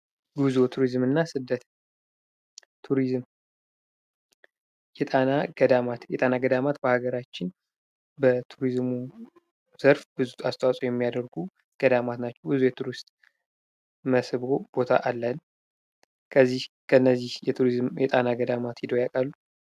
ጉዞ ቱሪዝም እና ስደት ቱሪዝም የጣና ገዳማት የጣና ገዳማት በሃገራችን በቱሪዝሙ ዘርፍ ብዙ አስተዋጾ የሚያደርጉ ተቋማት ናቸው። ብዙ የቱሪስት መስህብ አለን። ከነዚህ የቱሪስት መስህብ የጣና ገዳማት ሄደው ያውቃሉ?